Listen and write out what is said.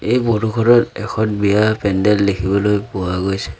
এই এখন বিয়াৰ পেণ্ডেল দেখিবলৈ পোৱা গৈছে।